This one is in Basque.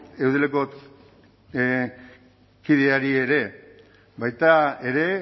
eudeleko kideei ere baita ere